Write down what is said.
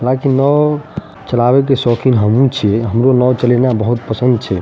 हालांकि नाओ चलावे के शौकीन हमहुं छे हमरो नाओ चलैना बहुत पसंद छे।